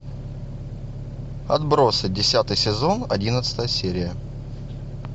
отбросы десятый сезон одиннадцатая серия